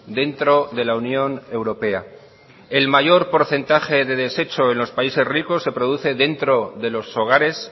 dentro de la unión europea el mayor porcentaje de desecho en los países ricos se produce dentro de los hogares